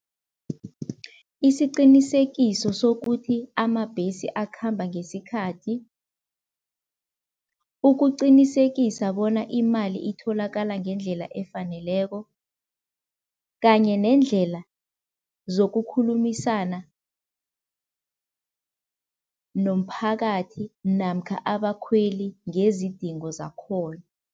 Isiqinisekiso sokuthi amabhesi akhamba ngesikhathi, ukuqinisekisa bona imali itholakala ngendlela efaneleko kanye nendlela zokukhulumisana nomphakathi namkha abakhweli ngezidingo zakhona.